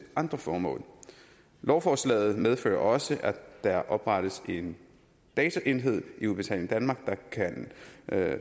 andre formål lovforslaget medfører også at der oprettes en baseenhed i udbetaling danmark der kan